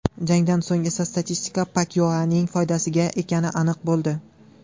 Jangdan so‘ng esa statistika Pakyaoning foydasiga ekani aniq bo‘ldi.